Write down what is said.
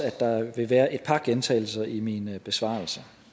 at der vil være et par gentagelser i min besvarelse